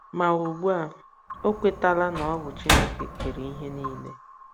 Ma ugbu a, o kwetala na ọ bụ Chineke kere ihe niile.